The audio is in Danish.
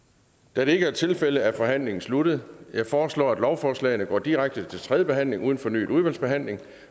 da det ikke er tilfældet er forhandlingen sluttet jeg foreslår at lovforslagene går direkte til tredje behandling uden fornyet udvalgsbehandling